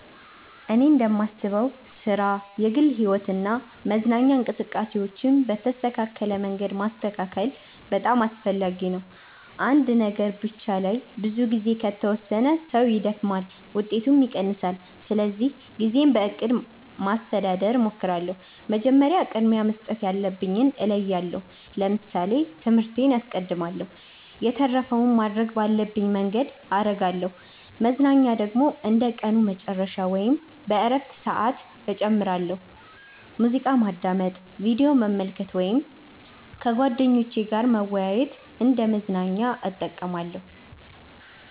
እኔ እንደማስበው ሥራ፣ የግል ሕይወት እና መዝናኛ እንቅስቃሴዎችን በተስተካከለ መንገድ ማስተካከል በጣም አስፈላጊ ነው። አንድ ነገር ብቻ ላይ ብዙ ጊዜ ከተወሰነ ሰው ይደክማል፣ ውጤቱም ይቀንሳል። ስለዚህ ጊዜን በእቅድ ማስተዳደር እሞክራለሁ። መጀመሪያ ቅድሚያ መስጠት ያለብኝን እለያለሁ ለምሳሌ ትምህርቴን አስቀድማለሁ የተረፈውን ማድረግ ባለብኝ መንገድ አረጋለሁ መዝናኛ ደግሞ እንደ ቀኑ መጨረሻ ወይም በእረፍት ሰዓት እጨምራለሁ። ሙዚቃ ማዳመጥ፣ ቪዲዮ መመልከት ወይም ከጓደኞች ጋር መወያየት እንደ መዝናኛ እጠቀማለሁ።